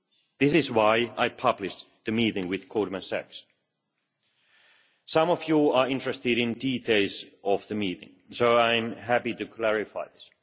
This is why I published the meeting with Goldman Sachs. Some of you are interested in details of the meeting, so I am happy to clarify this.